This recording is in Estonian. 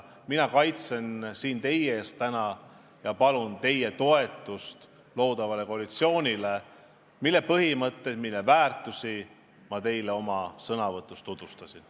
Mina palun siin täna teie toetust loodavale koalitsioonile, mille põhimõtteid, mille väärtusi ma teile oma sõnavõtus tutvustasin.